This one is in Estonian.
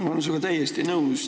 Ma olen sinuga täiesti nõus.